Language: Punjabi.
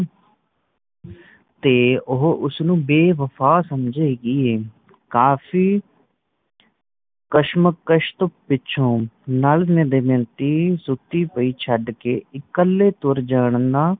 ਤੇ ਉਹ ਉਸਨੂੰ ਬੇਵਫਾ ਸਮਝੇਗੀ ਐ ਕਾਫ਼ੀ ਕਸ਼ਮਕਸ਼ ਤੋਂ ਪਿੱਛੋਂ ਨੱਲ ਨੇ ਦਮਯੰਤੀ ਸੁੱਤੀ ਪਈ ਛੱਡ ਕੇ ਇਕੱਲੇ ਤੁਰ ਜਾਣ ਦਾ